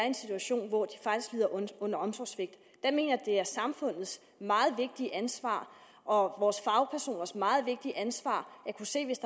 en situation hvor de faktisk lider under omsorgssvigt jeg mener at det er samfundets meget vigtige ansvar og vores fagpersoners meget vigtige ansvar at kunne se hvis